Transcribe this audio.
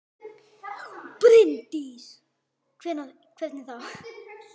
Bryndís: Hvernig þá?